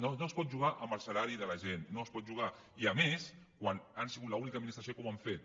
no no es pot jugar amb el salari de la gent no s’hi pot jugar i a més quan han sigut l’única administració que ho ha fet